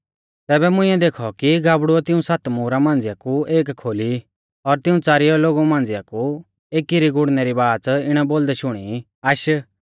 तैबै मुंइऐ देखौ कि गाबड़ुऐ तिऊं सात मुहरा मांझ़िआ कु एक खोली और तिऊं च़ारिया लोगु मांझ़िआ कु एकी री गुड़णै री बाच़ इणै बोलदै शुणी आश